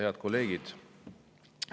Head kolleegid!